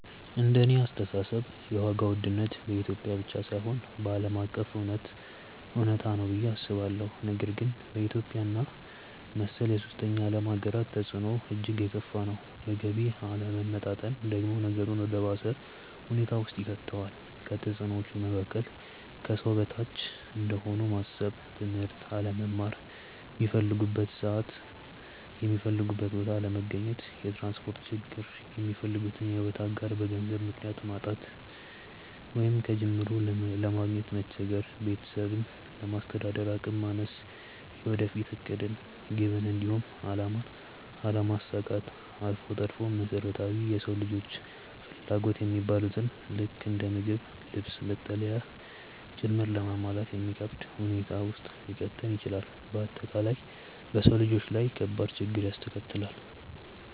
እንደኔ አስተሳሰብ የዋጋ ውድነት በኢትዮጵያ ብቻ ሳይሆን ዓለም አቀፍ እውነታ ነው ብዬ አስባለሁ፤ ነገር ግን በኢትዮጵያ እና መሰል የሶስተኛ ዓለም ሃገራት ተፅዕኖው እጅግ የከፋ ነው። የገቢ አለመመጣጠን ደግሞ ነገሩን ወደ ባሰ ሁኔታ ውስጥ ይከተዋል። ከተፅዕኖዎቹ መካከል፦ ከሰው በታች እንደሆኑ ማሰብ፣ ትምህርት አለመማር፣ ሚፈልጉበት ሰዓት የሚፈልጉበት ቦታ አለመገኘት፣ የትራንስፖርት ችግር፣ የሚፈልጉትን የሕይወት አጋር በገንዘብ ምክንያት ማጣት ወይንም ከጅምሩ ለማግኘት መቸገር፣ ቤተሰብን ለማስተዳደር አቅም ማነስ፣ የወደፊት ዕቅድን፣ ግብን፣ እንዲሁም አላማን አለማሳካት አልፎ ተርፎም መሰረታዊ የሰው ልጆች ፍላጎት የሚባሉትን ልክ እንደ ምግብ፣ ልብስ፣ መጠለያ ጭምር ለማሟላት የሚከብድ ሁኔታ ውስጥ ሊከተን ይችላል። በአጠቃላይ በሰው ልጆች ላይ ከባድ ችግርን ያስከትላል።